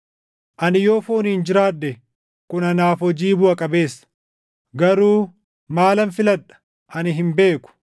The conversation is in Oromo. Ani yoo fooniin jiraadhe kun anaaf hojii buʼa qabeessa; garuu maalan filadha? Ani hin beeku!